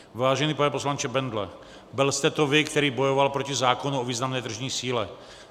Vážený pane poslanče Bendle, byl jste to vy, který bojoval proti zákonu o významné tržní síle.